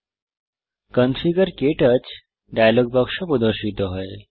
configure ক্টাচ dialogue বাক্স প্রদর্শিত হয়